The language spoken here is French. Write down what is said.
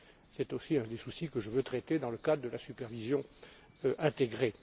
C'est aussi un des problèmes que je veux traiter dans le cadre de la supervision intégrée.